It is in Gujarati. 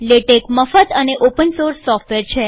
લેટેક મુલ્ય વગરનું અને ઓપન સોર્સ સોફ્ટવેર છે